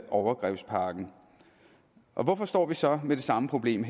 overgrebspakken hvorfor står vi så med det samme problem